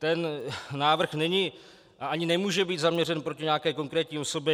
Ten návrh není a ani nemůže být zaměřen proti nějaké konkrétní osobě.